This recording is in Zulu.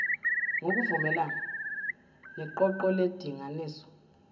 ngokuvumelana neqoqo lendinganiso